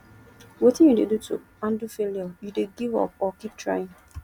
wetin you dey do to handle failure you dey give up or keep trying